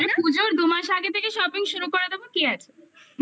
পুজোর দুমাস আগে থেকে shopping করে দেব কি আছে